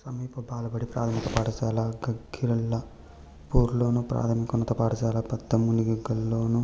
సమీప బాలబడి ప్రాథమిక పాఠశాల గాగిళ్ళపూర్లోను ప్రాథమికోన్నత పాఠశాల పెద్దమునిగల్లోను